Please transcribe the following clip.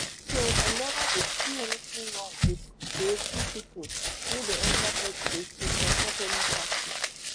so i neva dey see anytin wrong wit creative pipo wey dey enta politics to support any party